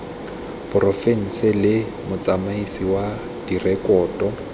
porofense le motsamaisi wa direkoto